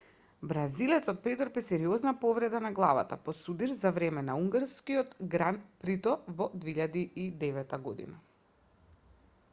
бразилецот претрпе сериозна повреда на главата по судир за време на унгарското гран прито во 2009 година